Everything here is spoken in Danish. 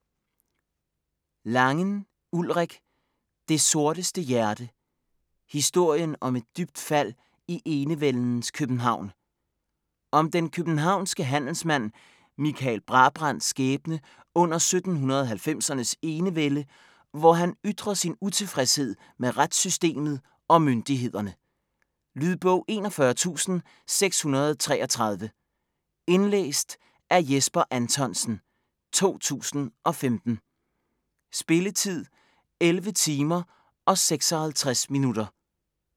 Langen, Ulrik: Det sorteste hjerte: historien om et dybt fald i enevældens København Om den københavnske handelsmand Michael Brabrands skæbne under 1790'ernes enevælde, hvor han ytrer sin utilfredshed med retssystemet og myndighederne. Lydbog 41633 Indlæst af Jesper Anthonsen, 2015. Spilletid: 11 timer, 56 minutter.